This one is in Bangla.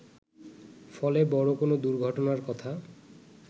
ফলে বড় কোন দুর্ঘটনার কথা